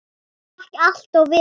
Það gekk allt vel.